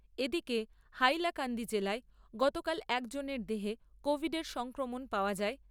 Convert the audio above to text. এদিকে হাইলাকান্দি জেলায় গতকাল একজনের দেহে কোভিডের সংক্রমণ পাওয়া যায়